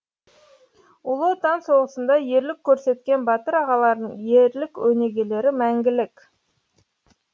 ұлы отан соғысында ерлік көрсеткен батыр ағалардың ерлік өнегелері мәңгілік